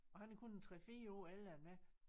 Og han er kun en 3 4 år ældre end mig